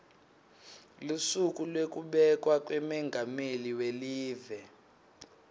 lusuku lwekubekwa kwamengameli welive